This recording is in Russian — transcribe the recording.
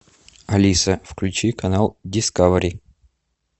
алиса включи канал дискавери